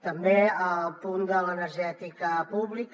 també el punt de l’energètica pública